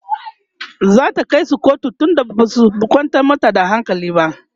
zata kaisu kotu tunda Basu kwantar mata da hankali ba?